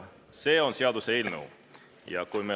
See on seaduseelnõu.